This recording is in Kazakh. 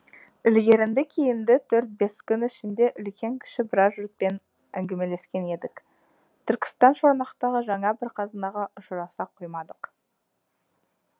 ілгерінді кейінді төрт бес күн ішінде үлкен кіші біраз жұртпен әңгімелескен едік түркістан шорнақтағы жаңа бір қазынаға ұшыраса қоймадық